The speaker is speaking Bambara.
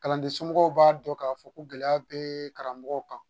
Kalanden somɔgɔw b'a dɔn k'a fɔ ko gɛlɛya be karamɔgɔw kan